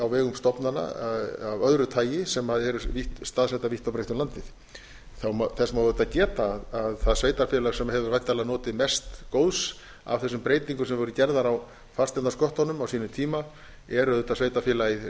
vegum stofnana af öðru lagi sem eru staðsettar vítt og breitt um landið þess má auðvitað geta að það sveitarfélag sem hefur væntanlega notið mest góðs af þessum breytingum sem voru gerðar á fasteignasköttunum á sínum tíma er auðvitað sveitarfélagið